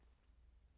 TV 2